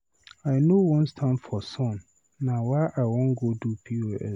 I know wan stand for sun, na why I wan go do POS.